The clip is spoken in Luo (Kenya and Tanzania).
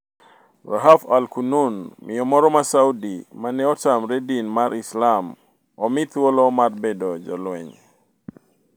Rahaf al-Qunun: Miyo moro ma Saudi mane otamre din mar Islam omi thuolo mar bedo jolweny